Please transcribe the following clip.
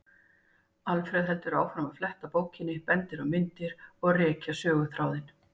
Alfreð heldur áfram að fletta bókinni, benda á myndir og rekja söguþráðinn.